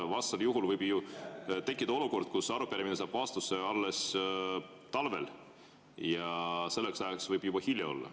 Vastasel juhul võib ju tekkida olukord, kus arupärimine saab vastuse alles talvel, aga selleks ajaks võib juba hilja olla.